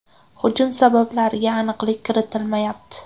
Hujum sabablariga aniqlik kiritilmayapti.